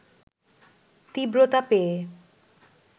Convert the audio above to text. তীব্রতা পেয়ে